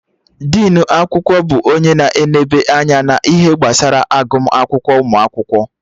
Dinu akwụkwọ bụ onye na-eneba anya na ihe gbasara agụma akwụkwọ ụmụ akwụkwọ